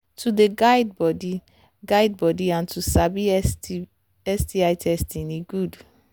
to they guide body guide body and to sabi sbi testing e good